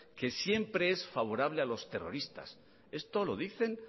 que siempre es favorable a los terroristas eso lo dicen